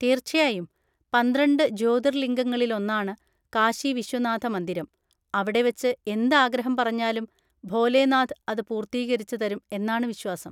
തീർച്ചയായും, പന്ത്രണ്ട് ജ്യോതിർലിംഗങ്ങളിൽ ഒന്നാണ് കാശി വിശ്വനാഥ മന്ദിരം, അവിടെ വെച്ച് എന്ത് ആഗ്രഹം പറഞ്ഞാലും ഭോലേനാഥ് അത് പൂർത്തീകരിച്ച് തരും എന്നാണ് വിശ്വാസം.